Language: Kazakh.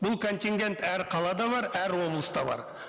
бұл контингент әр қалада бар әр облыста бар